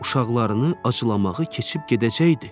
Uşaqlarını acılamağı keçib gedəcəkdi.